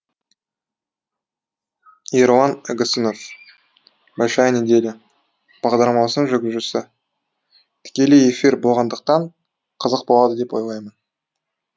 ерлан игісінов большая неделя бағдарламасының жүргізушісі тікелей эфир болғандықтан қызық болады деп ойлаймын